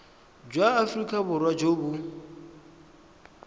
jwa aforika borwa jo bo